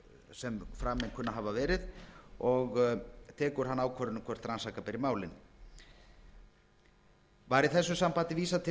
kunna að hafa verið og tekur hann ákvörðun um hvort rannsaka beri málin var í þessu sambandi vísað til